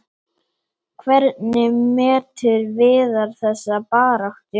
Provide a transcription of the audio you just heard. Hvernig metur Viðar þessa baráttu?